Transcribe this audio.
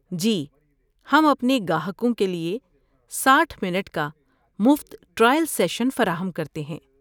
جی، ہم اپنے گاہکوں کے لیے ساٹھ منٹ کا مفت ٹرائل سیشن فراہم کرتے ہیں